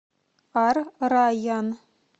ар райян